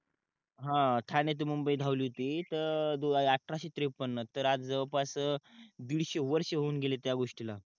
हा ठाणे ते मुंबई धावली होती त अठराशे त्रेपन्न तर आज जवळपास दिडशे वर्ष होवून गेले त्या गोष्टी ला